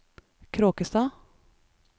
Kråkstad